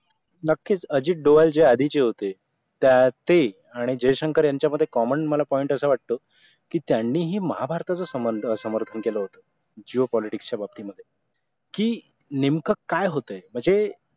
नक्की अजित डोळस जे आधीचे होते तर ते आणि जयशंकर यांच्यामध्ये common मला point असं वाटतो की त्यांनीही महाभारताचा संबंध समर्थन केलं होतं geopolitics च्या बाबतीमध्ये कि नेमकं काय होते